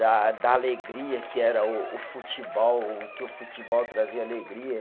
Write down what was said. Da da alegria que era o o futebol, que o futebol trazia alegria.